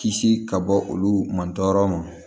Kisi ka bɔ olu man tɔɔrɔ ma